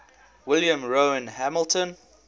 william rowan hamilton